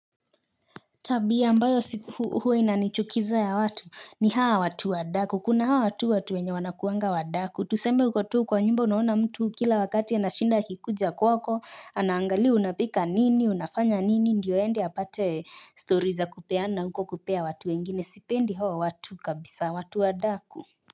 Tabia ambayo huwa inanichukiza ya watu ni hawa watu wadaku. Kuna hawa watu watu wenye wanakuanga wadaku. Tuseme uko tu kwa nyumba unaona mtu kila wakati anashinda akikuja kwako. Anaangalia unapika nini, unafanya nini. Ndiyo aende apate story za kupeana huko kupea watu wengine. Sipendi hawa watu kabisa watu wadaku.